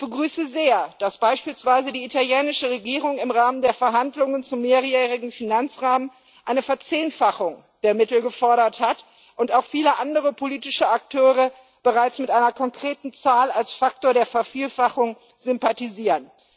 Ich begrüße sehr, dass beispielsweise die italienische Regierung im Rahmen der Verhandlungen über den Mehrjährigen Finanzrahmen eine Verzehnfachung der Mittel gefordert hat und auch viele andere politische Akteure bereits mit einer konkreten Zahl als Faktor der Vervielfachung sympathisieren.